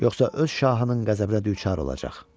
Yoxsa öz şahının qəzəbinə düçar olacaq.